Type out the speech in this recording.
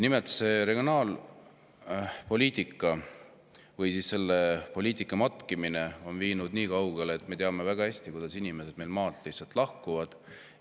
Nimelt, regionaalpoliitika või selle poliitika matkimine on viinud nii kaugele, et me teame väga hästi, kui paljud inimesed meil maalt lihtsalt lahkuvad.